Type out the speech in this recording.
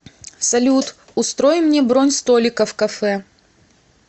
салют устрой мне бронь столика в кафе